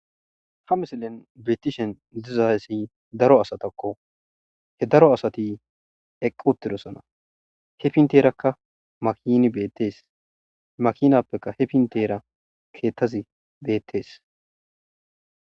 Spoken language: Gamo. ha misilen beetishen dizaayssi daro asatakko he daro asati eqqi uttirosana he pinteerakka makini beettees makinappekka he pintera keettazi beettees